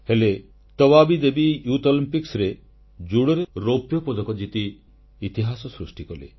ହେଲେ ତବାବୀ ଦେବୀ ଜୁବ ଅଲିମ୍ପିକ୍ସରେ ଜୁଡ଼ୋରେ ରୌପ୍ୟ ପଦକ ଜିତି ଇତିହାସ ସୃଷ୍ଟି କଲେ